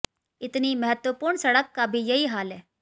इतनी महत्त्वपूर्ण सड़क का भी यही हाल है